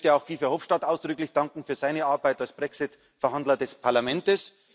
Ich möchte auch Guy Verhofstadt ausdrücklich danken für seine Arbeit als Brexit Verhandler des Parlamentes.